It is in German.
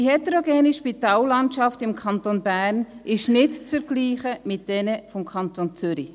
Die heterogene Spitallandschaft im Kanton Bern ist nicht zu vergleichen mit jener des Kantons Zürich.